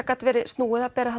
gat verið snúið að bera